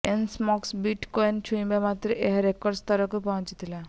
Elon Musk bit କଏନକୁ ଛୁଇଁବା ମାତ୍ରେ ଏହା ରେକର୍ଡ ସ୍ତରକୁ ପହଞ୍ଚିଥିଲା